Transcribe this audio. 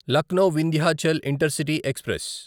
Lucknow Vindhyachal intercity express